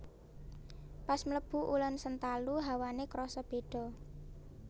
Pas mlebu Ulen Sentalu hawane kroso bedo